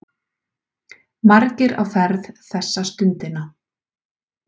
Margir á ferð þessa stundina.